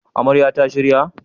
Amarya ta shirya??